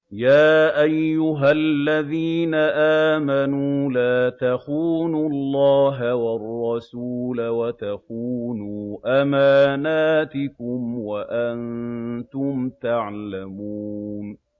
يَا أَيُّهَا الَّذِينَ آمَنُوا لَا تَخُونُوا اللَّهَ وَالرَّسُولَ وَتَخُونُوا أَمَانَاتِكُمْ وَأَنتُمْ تَعْلَمُونَ